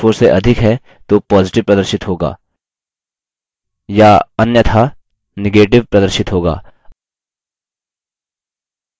इसका मतलब यदि cell c3 की value cell c4 से अधिक है तो positive प्रदर्शित होगा